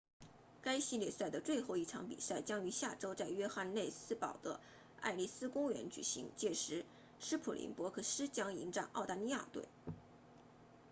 该系列赛的最后一场比赛将于下周在约翰内斯堡 johannesburg 的埃利斯公园举行届时斯普林博克斯 springboks 将迎战澳大利亚队